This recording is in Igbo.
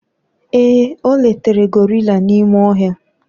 ee, o letara gorilla n'ime ohia